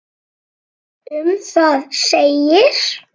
Um það segir: